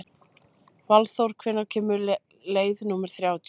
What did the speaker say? Valþór, hvenær kemur leið númer þrjátíu?